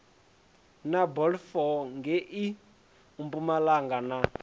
na balfour ngei mpumalanga na